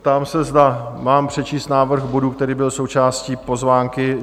Ptám se, zda mám přečíst návrh bodu, který byl součástí pozvánky?